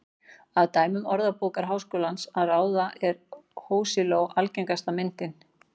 Af dæmum Orðabókar Háskólans að ráða er hosiló algengasta myndin.